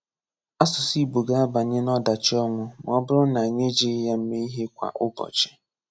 Asụsụ Ị̀gbò ga-abanye n'ọ̀dachi ọnwụ ma ọ bụrụ na anyị ejighị ya eme ihe kwa ụbọchị.